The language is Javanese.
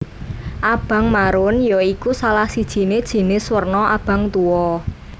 Abang marun ya iku salah sijine jinis werna abang tuwa